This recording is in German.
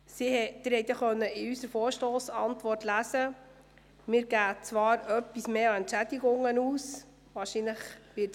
Sie konnten in der Vorstossantwort lesen, dass etwas mehr Geld für Entschädigungen ausgegeben wird.